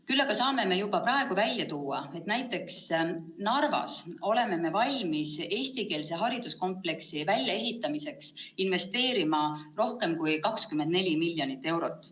Küll aga saame juba praegu välja tuua, et näiteks Narvas oleme valmis eestikeelse hariduskompleksi väljaehitamisse investeerima rohkem kui 24 miljonit eurot.